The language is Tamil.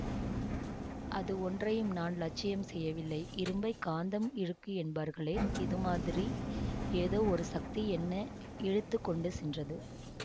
அது ஒன்றையும் நான் லட்சியம் செய்யவில்லை இரும்பைக் காந்த இழுக்கும் என்பார்களே இது மாதிரி ஏதோ ஒரு சக்தி என்ன இழுத்து கொண்டு சென்றது